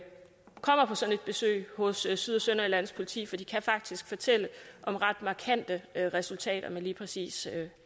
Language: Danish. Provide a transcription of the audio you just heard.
besøg hos syd og sønderjyllands politi for de kan faktisk fortælle om ret markante resultater med lige præcis